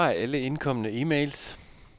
Besvar alle indkomne e-mails.